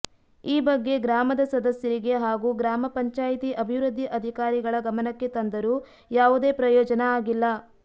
ಈ ಬಗ್ಗೆ ಗ್ರಾಮದ ಸದಸ್ಯರಿಗೆ ಹಾಗೂ ಗ್ರಾಮ ಪಂಚಾಯಿತಿ ಅಭಿವೃದ್ಧಿ ಅಧಿಕಾರಿಗಳ ಗಮನಕ್ಕೆ ತಂದರೂ ಯಾವುದೇ ಪ್ರಯೋಜನ ಆಗಿಲ್ಲ